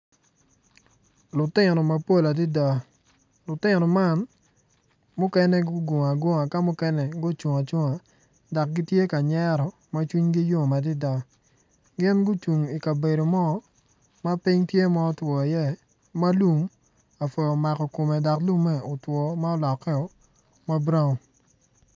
Lutino mapol adada lutino man mukene gugungu agunga ki mukene gucung acunga dok gitye ka nyero ma cwinygi yom adada gin gucung i kabedo mo ma piny tye ma owtwo iye ma lum apwua otwo iye dok oloke mabraun.